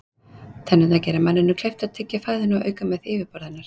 Tennurnar gera manninum kleift að tyggja fæðuna og auka með því yfirborð hennar.